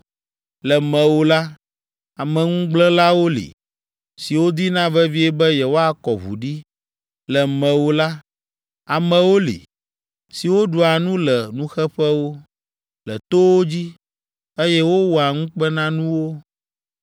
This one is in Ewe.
Le mewò la, ameŋugblẽlawo li, siwo dina vevie be yewoakɔ ʋu ɖi. Le mewò la, amewo li, siwo ɖua nu le nuxeƒewo, le towo dzi, eye wowɔa ŋukpenanuwo.